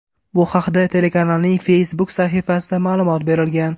Bu haqda telekanalning Facebook sahifasida ma’lumot berilgan .